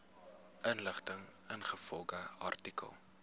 inligting ingevolge artikel